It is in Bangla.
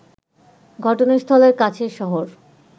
ঘটনাস্থলের কাছের শহর